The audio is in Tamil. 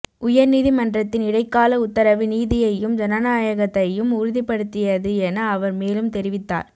உயர்நீதி மன்றத்தின் இடைக்கால உத்தரவு நீதியையும் ஜனநாயகத்தையும் உறுதிப்படுத்தியது என அவர் மேலும் தெரிவித்தார்